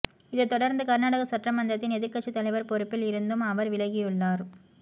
இதைத் தொடர்ந்து கர்நாடக சட்டமன்றத்தின் எதிர்க்கட்சி தலைவர் பொறுப்பில் இருந்தும் அவர் விலகியுள்ளார்